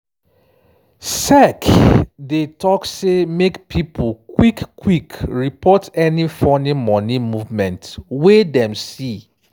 sec dey talk say make pipo quick-quick report any funny money movement wey dem see.